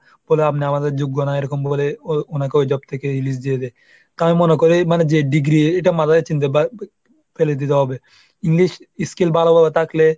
বলে আপনি আমাদের যোগ্য নয়, এরকম বলে ও ওনাকে ওই job থেকে release দিয়ে দেয়। তাহলে মনে করো এই যে degree এটা মাথায় চিন্তা বা ফেলে দিতে হবে english escale ভালো থাকলে।